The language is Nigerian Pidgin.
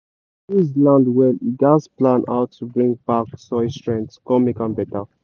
to use land well you gatz plan how to bring back soil strength con make am better.